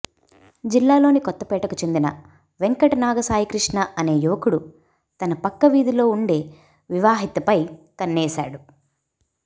జిల్లాలోని కొత్తపేటకు చెందిన వెంకటనాగ సాయికృష్ణ అనే యువకుడు తన పక్క వీధిలో ఉండే వివాహితపై కన్నేశాడు